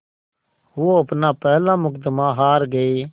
वो अपना पहला मुक़दमा हार गए